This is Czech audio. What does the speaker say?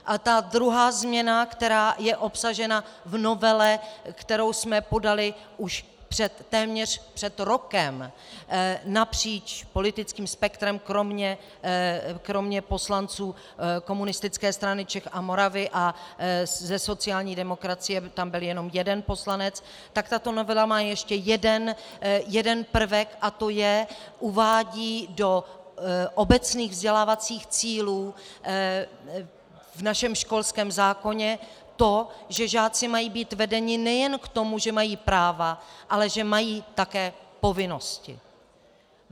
A ta druhá změna, která je obsažena v novele, kterou jsme podali už téměř před rokem napříč politickým spektrem kromě poslanců Komunistické strany Čech a Moravy a ze sociální demokracie, tam byl jenom jeden poslanec, tak tato novela má ještě jeden prvek, a to je - uvádí do obecných vzdělávacích cílů v našem školském zákoně to, že žáci mají být vedeni nejen k tomu, že mají práva, ale že mají také povinnosti.